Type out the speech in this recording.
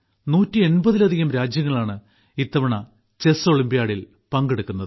180ലധികം രാജ്യങ്ങളാണ് ഇത്തവണ ചെസ് ഒളിമ്പ്യാഡിൽ പങ്കെടുക്കുന്നത്